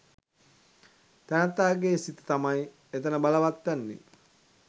තැනැත්තාගේ සිත තමයි එතන බලවත් වෙන්නේ.